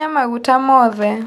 Kinya maguta mothe.